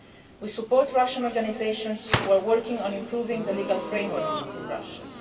We support Russian organisations who are working on improving the legal framework in Russia.